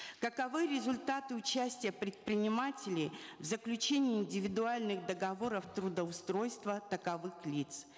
каковы результаты участия предпринимателей в заключении индивидуальных договоров трудоустройства таковых лиц